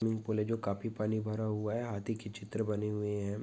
Swimming pool है जो काफी पानी भरा हुवा है हाथी की चित्र बने हुवे है।